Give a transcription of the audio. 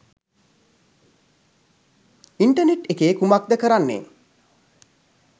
Internet එකේ කුමක්ද කරන්නේ?